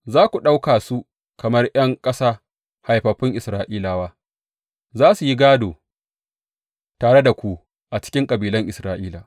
Za ku ɗauka su kamar ’yan ƙasa haifaffun Isra’ilawa; za su yi gādo tare da ku a cikin kabilan Isra’ila.